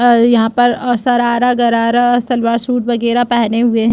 और यहाँ पर शरारा गरारा सलवार सूट पहने हुए हैं।